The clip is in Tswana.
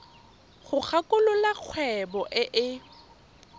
go kwalolola kgwebo e e